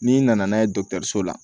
N'i nana n'a ye dɔgɔtɔrɔso la